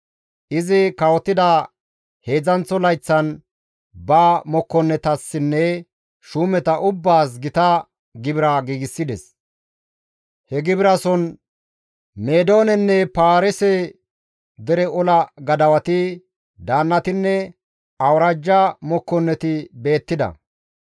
Izi kawotida heedzdzanththo layththan, ba mokkonnetassinne shuumeta ubbaas gita gibira giigsides. He gibirason Meedoonenne Paarise dere ola gadawati, daannatinne Awuraajja mokkonneti beettida.